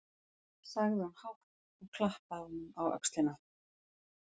sagði hún hátt, og klappaði honum á öxlina.